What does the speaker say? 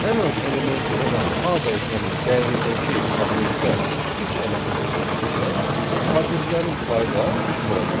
Ən az elementi olan A dəyişənin dəyərindəki obyektdə üç element olduğundan, kortejlərin sayı da üç olacaq.